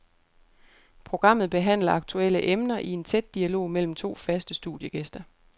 Programmet behandler aktuelle emner i en tæt dialog mellem to faste studiegæster.